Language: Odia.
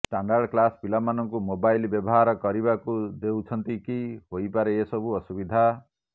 ଷ୍ଟାଣ୍ଡାର୍ଡ଼ କ୍ଲାସ ପିଲାମାନଙ୍କୁ ମୋବାଇଲ ବ୍ୟବହାର କରିବାକୁ ଦେଉଛନ୍ତି କି ହୋଇପାରେ ଏହିସବୁ ଅସୁବିଧା